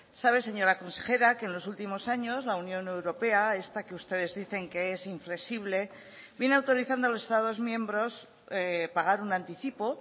sabe señora consejera que en los últimos años la unión europea esta que ustedes dicen que es inflexible viene autorizando a los estados miembros pagar un anticipo